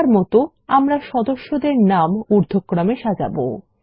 এখনকার মত আমরা সদস্যদের নাম উর্দ্ধক্রমে সাজাবো